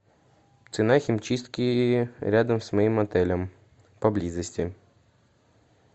цена химчистки рядом с моим отелем поблизости